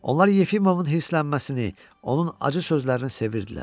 Onlar Yefimovun hirslənməsini, onun acı sözlərini sevirdilər.